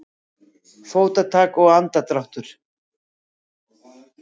Fótatak og andardráttur.